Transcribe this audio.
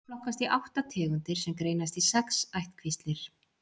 þeir flokkast í átta tegundir sem greinast í sex ættkvíslir